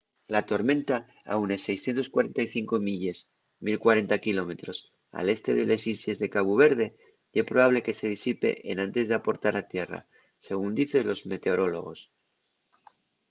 la tormenta a unes 645 milles 1040 km al este de les islles de cabu verde ye probable que se disipe enantes d'aportar a tierra según dicen los meteorólogos